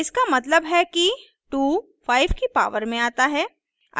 इसका मतलब है कि 2 5 की पावर में आता है